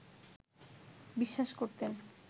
বিশ্বাস করতেন